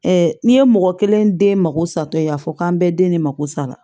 n'i ye mɔgɔ kelen den mako satɔ ye a fɔ k'an bɛɛ de mako sa